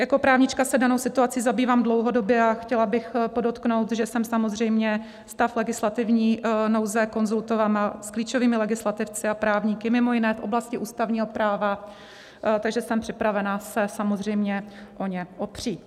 Jako právnička se danou situací zabývám dlouhodobě a chtěla bych podotknout, že jsem samozřejmě stav legislativní nouze konzultovala s klíčovými legislativci a právníky mimo jiné v oblasti ústavního práva, takže jsem připravena se samozřejmě o ně opřít.